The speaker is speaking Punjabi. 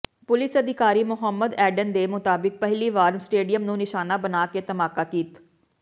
ਪੁਲਿਸ ਅਧਿਕਾਰੀ ਮੁਹੰਮਦ ਐਡਨ ਦੇ ਮੁਤਾਬਿਕ ਪਹਿਲੀ ਵਾਰ ਸਟੇਡੀਅਮ ਨੂੰ ਨਿਸ਼ਾਨਾ ਬਣਾ ਕੇ ਧਮਾਕਾ ਕੀਤ